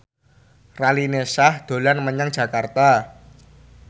Raline Shah dolan menyang Jakarta